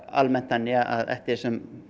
almennt þannig að eftir því sem